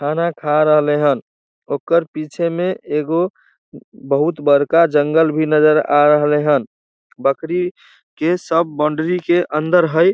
खाना खा रहले हन ओकर पीछे में ऐगो बहुत बड़का जंगल भी नज़र आ रहले हन बकरी के सब बॉन्डरी के अंदर हेय।